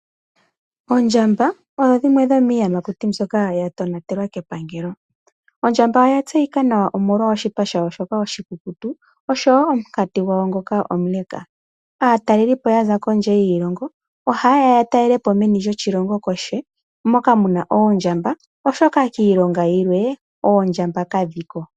Oondjamba odho dhimwe dhomiiyamakuti mbyoka ya tonatelwa kepangalo. Ondjamba oya tseyika nawa omolwa oshipa shayo shoka oshikuku oshowoo omukati gwawo ngoka omule. Aatalelipo yaza kondje yiilongo, ohaye ya yatalelepo meni lyoshilongo moka muna oondjamba, oshoka kiilongo yilwe oondjamba kadhi ko.